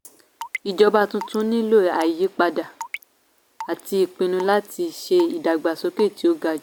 ìjọba tuntun nílò àyípadà àti ìpinnu láti ṣe ìdàgbàsókè tí ó ga jù.